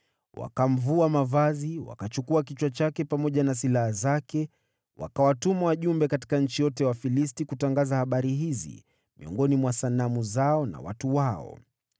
Wakamvua mavazi, wakachukua kichwa chake pamoja na silaha zake, wakawatuma wajumbe katika nchi yote ya Wafilisti kutangaza habari hizi miongoni mwa sanamu zao na watu wao.